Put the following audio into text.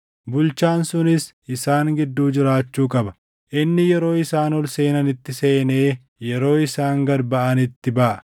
Bulchaan sunis isaan gidduu jiraachuu qaba; inni yeroo isaan ol seenanitti seenee yeroo isaan gad baʼanitti baʼa.